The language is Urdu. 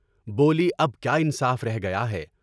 بولی اب کیا انصاف رہ گیا ہے؟